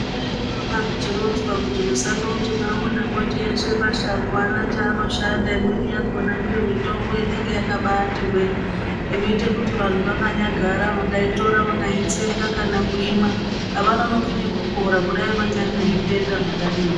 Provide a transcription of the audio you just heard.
Zvinondoramba zvechironzwa kuti musandoti maona mwoti eshe mashango aana chaanoshanda imweni yakona ndiyo mitombo inenge yakabatihwe inoite kuti vantu vakanyagara vakaitora vakaitsenga kana kuimwa avanonoki nekupora kudai vanyari nezvitenda zvakadini.